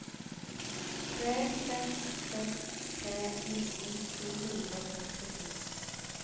tre seks seks tre nitten to hundre og førtito